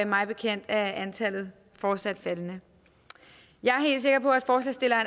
mig bekendt er antallet fortsat faldende jeg